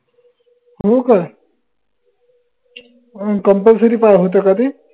हो का? अह compulsory होत का ते?